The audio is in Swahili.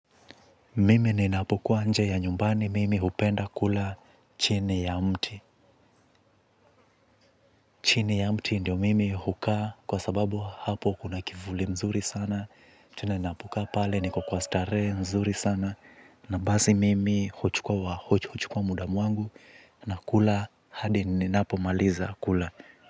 Mimi ninapukuwa nje ya nyumbani mimi hupenda kula chini ya mti. Chini ya mti ndio mimi hukaa kwa sababu hapo kuna kivuli mzuri sana. Chini ninapokaa pale niko kwa starehe nzuri sana. Na basi mimi huchukua huchukua muda wangu nakula hadi ninapomaliza kula.